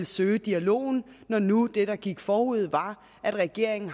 søge dialogen når nu det der gik forud var at regeringen